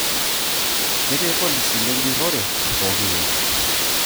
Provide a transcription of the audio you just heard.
Ketii irpolisi lenjurrorre pooki wueji